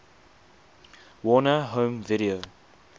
warner home video